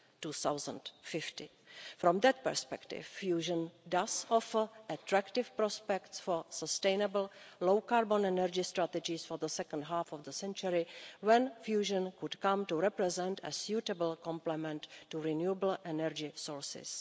2050. From that perspective fusion does offer attractive prospects for sustainable low carbon energy strategies for the second half of the century, when fusion could come to represent a suitable complement to renewable energy sources.